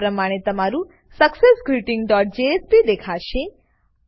આ પ્રમાણે તમારું સક્સેસગ્રીટિંગ ડોટ જેએસપી દેખાશે